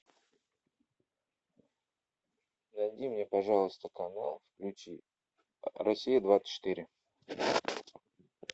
найди мне пожалуйста канал включи россия двадцать четыре